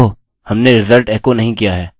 ओह ! हमने रिज़ल्ट एको नहीं किया है